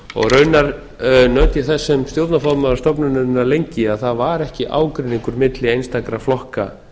raunar naut ég þess sem stjórnarformaður stofnunarinnar lengi að það var ekki ágreiningur milli einstakra flokka